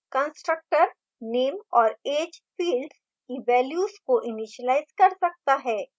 constructor name और age fields की values को इनीशिलाज कर सकता है